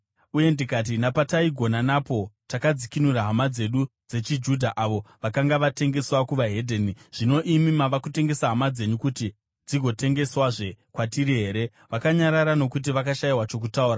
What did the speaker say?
uye ndikati, “Napataigona napo takadzikinura hama dzedu dzechiJudha avo vakanga vatengeswa kune vedzimwe ndudzi. Zvino imi mava kutengesa hama dzenyu, kuti dzigotengeswazve kwatiri here?” Vakanyarara nokuti vakashayiwa chokutaura.